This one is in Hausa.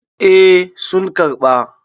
eh sun karɓa.